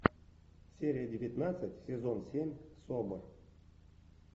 серия девятнадцать сезон семь собр